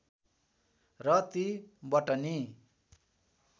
र ती बटनी